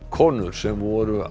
konur sem voru